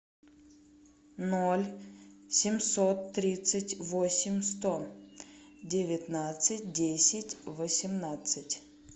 ноль семьсот тридцать восемь сто девятнадцать десять восемнадцать